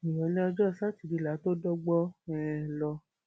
ìrọlẹ ọjọ sátidé la tóó dọgbọn um lọ